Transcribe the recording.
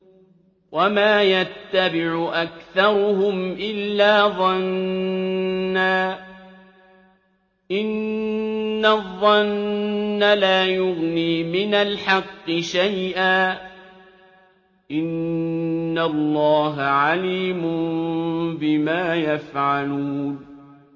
وَمَا يَتَّبِعُ أَكْثَرُهُمْ إِلَّا ظَنًّا ۚ إِنَّ الظَّنَّ لَا يُغْنِي مِنَ الْحَقِّ شَيْئًا ۚ إِنَّ اللَّهَ عَلِيمٌ بِمَا يَفْعَلُونَ